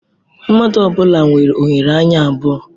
Mmadụ ọ bụla nwere oghere anya abụọ.